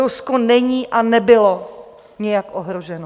Rusko není a nebylo nijak ohroženo.